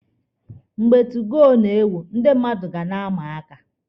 Mgbe 2goo na-ewu, ndị mmadụ ga na-ama aka.